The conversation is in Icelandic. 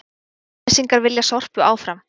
Kjalnesingar vilja Sorpu áfram